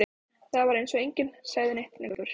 Það var eins og enginn segði neitt lengur.